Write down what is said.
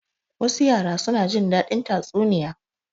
Wasu yara suna jin daɗin tatsuniya.